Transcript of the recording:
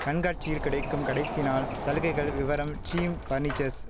கண்காட்சியில் கிடைக்கும் கடைசி நாள் சலுகைகள் விவரம் டிரீம் பர்னிச்சர்ஸ்